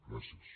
gràcies